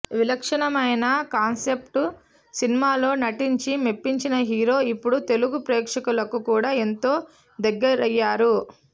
విలక్షణమైన కాన్సెప్ట్ సినిమాల్లో నటించి మెప్పించిన హీరో ఇప్పుడు తెలుగు ప్రేక్షకులకు కూడా ఎంతో దగయ్యారు